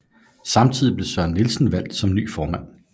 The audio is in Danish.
Samtidig blev Søren Nielsen valgt som ny formand